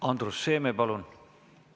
Andrus Seeme, palun!